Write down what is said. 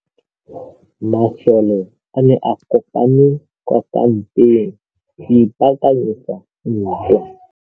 Masole a ne a kopane kwa kampeng go ipaakanyetsa ntwa.